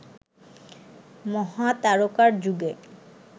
মহাতারকার যুগে